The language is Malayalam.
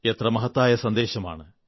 എത്ര മഹത്തായ സന്ദേശമാണ്